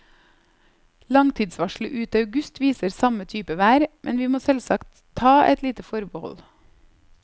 Langtidsvarselet ut august viser samme type vær, men vi må selvsagt ta et lite forbehold.